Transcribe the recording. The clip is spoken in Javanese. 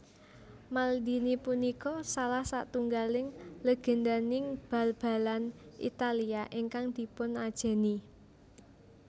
Maldini punika salah satunggaling lègèndaning bal balan Italia ingkang dipunajèni